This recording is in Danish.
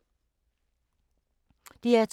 DR2